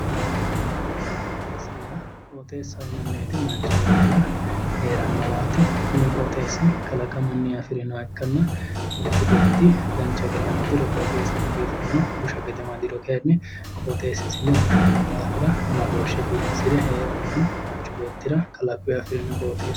Qooxeessa yaa qooxeessa yinanni woyte manchi beettira heerannowaati kuni qooxeessi kalaqamunni afirinoha ikkanna manchu beetti dancha gede amadiro qooxeessisi biifanno busha gede amadiro kayinni qooxeessisino bushanno daafira amadooshshe biifisire heerannohu manchu beettira kalaquyi afirino qooxeessaati